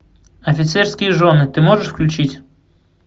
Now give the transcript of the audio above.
офицерские жены ты можешь включить